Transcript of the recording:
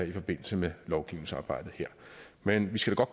i forbindelse med lovgivningsarbejdet her men vi skal da